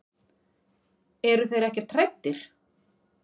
Eru þeir ekkert hræddir?